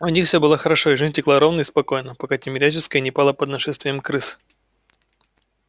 у них все было хорошо и жизнь текла ровно и спокойно пока тимирязевская не пала под нашествием крыс